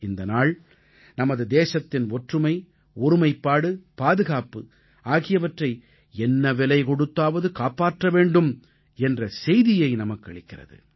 இந்த நாள் நமது தேசத்தின் ஒற்றுமை ஒருமைப்பாடு பாதுகாப்பு ஆகியவற்றை என்ன விலை கொடுத்தாவது காப்பாற்ற வேண்டும் என்ற செய்தியை நமக்களிக்கிறது